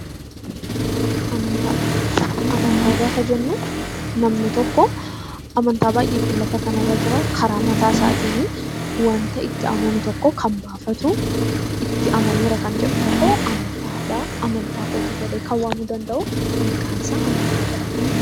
Amantaa gaafa jennu namni tokko amantaa baay'eetu lafa kanarra jira. Karaa mataa isaatiin waan ta'e itti amanu tokko baafatu, itti amaneera kan jedhu tokko amantaadha. Amantaa kooti jedhee kan waamuu danda'u maqaan isaa amantaa jedhama.